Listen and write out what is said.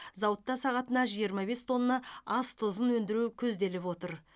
зауытта сағатына жиырма бес тонна ас тұзын өндіру көзделіп отыр